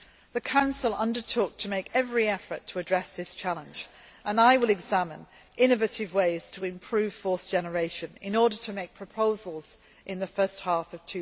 The Council undertook to make every effort to address this challenge and I will examine innovative ways to improve force generation in order to make proposals in the first half